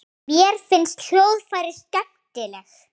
Mér finnst hljóðfræði skemmtileg.